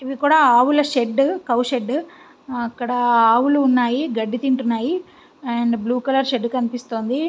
ఇది కూడా ఆవుల షెడ్ అక్కడ ఆవులు ఉన్నాయి గడ్డి తిట్టువుంటాయి. And blue colour shed కనిపిస్తుది.